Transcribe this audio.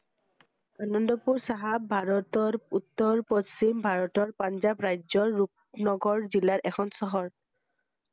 আনন্দপুৰ চাহাব ভাৰতৰ উওৰ পশ্চিম ভাৰতৰ পাঞ্জাৱ ৰাজ্যৰ ৰুপনগৰ জিলাৰ এখন চহৰ ৷